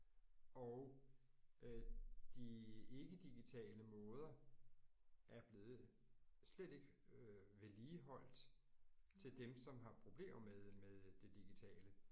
Og øh de ikke-digitale måder er blevet slet ikke øh vedligeholdt til dem som har problemer med med det digitale